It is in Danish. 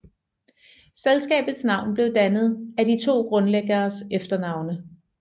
Selskabets navn blev dannet af de to grundlæggeres efternavne